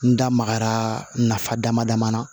N da magara nafa dama dama na